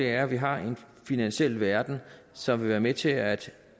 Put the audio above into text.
er at vi har en finansiel verden som vil være med til at